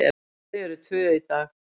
Þau eru tvö í dag.